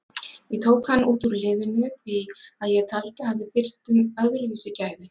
Ég tók hann út úr liðinu því að ég taldi að við þyrftum öðruvísi gæði.